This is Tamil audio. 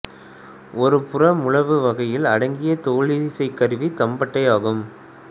ஒரு புற முழவு வகையில் அடங்கிய தோலிசைக் கருவி தம்பட்டை ஆகும்